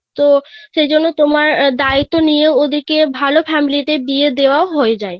তো সেই জন্য তোমার দায়িত্ব নিয়ে ওদের কে ওদের কে ভাল Family তে বিয়ে দেওয়া হয়ে যায়